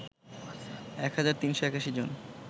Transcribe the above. ১ হাজার ৩৮১ জন